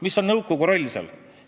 Mis on seal nõukogu roll?